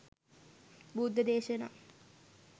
බුද්ධ දේශනා